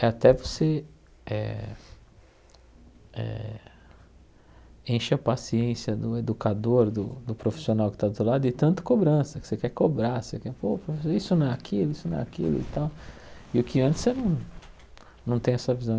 É até você eh eh encher a paciência do educador, do do profissional que está do outro lado, de tanta cobrança, que você quer cobrar, você quer, pô, isso não é aquilo, isso não é aquilo e tal, e o que antes você não não tem essa visão.